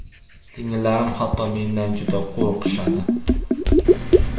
Singillarim hatto mendan juda qo‘rqishadi.